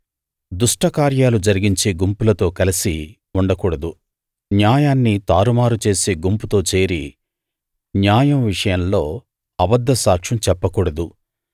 దుష్టకార్యాలు జరిగించే గుంపులతో కలిసి ఉండ కూడదు న్యాయాన్ని తారుమారు చేసే గుంపుతో చేరి న్యాయం విషయంలో అబద్ద సాక్ష్యం చెప్ప కూడదు